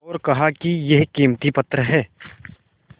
और कहा कि यह कीमती पत्थर है